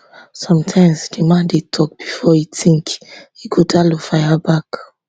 sometimes di man dey tok before e tink ighodalo fire back